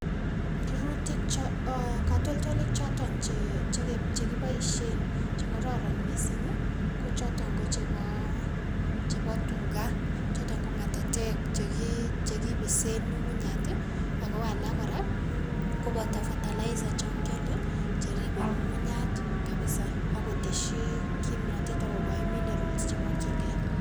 Rurutik cho ee katoltolik choton che che chekiboisien chekororon missing ko choton ko chebo chebo tuga choton ko ng'atatek cheki chekipisen ng'ung'unyat ako alak kora koboto fertilizer chon kiole cheribe ng'ung'unyat kabisa ak kotesyi kimonotet ak kokoi minerals chemokyingei.